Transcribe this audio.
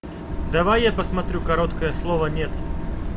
давай я посмотрю короткое слово нет